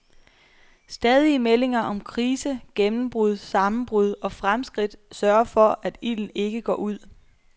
Stadige meldinger om krise, gennembrud, sammenbrud og fremskridt sørger for, at ilden ikke går ud.